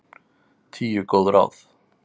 Tíu góð ráð